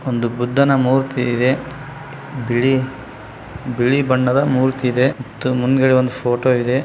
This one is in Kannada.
ಒಂದು ಬುದ್ಧನ ಮೂರ್ತಿ ಇದೆ ಬಿಳಿ ಬಿಳಿ ಬಣ್ಣದ ಮೂರ್ತಿ ಇದೆ ಮುಂದ್ಗಡೆ ಒಂದು ಫೋಟೋ ಇದೆ.